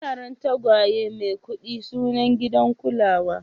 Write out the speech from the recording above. Yaran tagwaye Maikudi suna gidan kulawa.